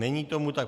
Není tomu tak.